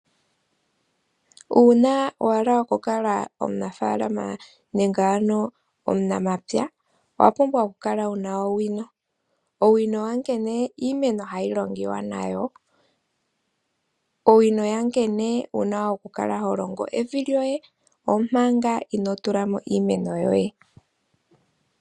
Uuna wahala oku kala omunafaalama nenge omunamapya owapumbwa okukala wuna owino. Owino yankene iimeno hayi longiwa nayo, owino yankene wuna okukala holongo evi lyoye omanga ino tulamo iimeno yoye.